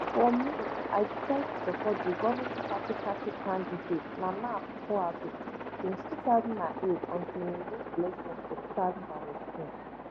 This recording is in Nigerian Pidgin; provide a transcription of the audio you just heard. for me i decide to support di govning party party candidate nana akufoaddo since two thousand and eight until im win election for two thousand and sixteen